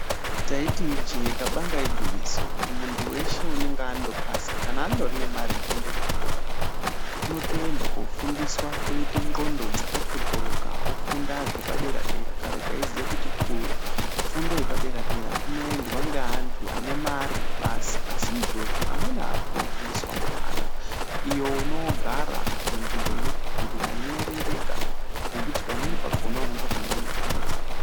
Taiti ijee kabanga igwinyiso kuti muntu weshe unenge andopasa kana andori nemare yekuende kuchikora unotoenda kofundiswa oite ndxondo dzakaqokoroka ofunda zvepadera dera. Kare taiziya kuti fundo yepadera dera kunoendwa ngeantu ane mare basi asi izvozvi amweni akutofundiswa mahara iyo unoogara munzvimbo inopipirira inoerengeka zvekuti pamweni pakhona unotokanganwe nhamo dzako.